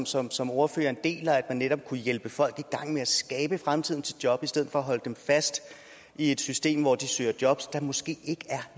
som som ordføreren deler at netop kunne hjælpe folk i gang med at skabe fremtidens jobs i stedet for at holde dem fast i et system hvor de søger jobs der måske ikke er